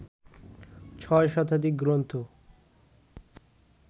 ছয় শতাধিক গ্রন্থ